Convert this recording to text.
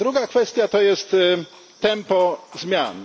Druga kwestia to jest tempo zmian.